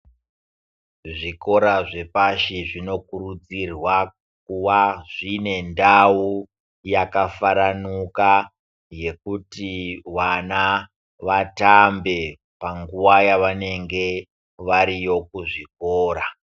Zvikora zvepashi zvinokurudzirwa kuva zvine ndau yakafaranuka yekuti vana vatambe panguwa yavanenge variyo kuzvikora.